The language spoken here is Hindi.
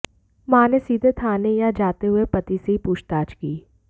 मां ने सीधे थाने ना जाते हुए पति से ही पूछताछ की